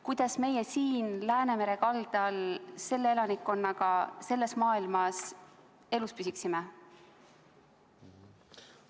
Kuidas meie siin Läänemere kaldal selle elanikkonnaga selles maailmas elus püsiksime?